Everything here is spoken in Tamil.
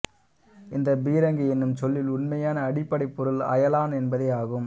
இந்த பீரங்கி என்னும் சொல்லின் உண்மையான அடிப்படைப் பொருள் அயலான் என்பதே ஆகும்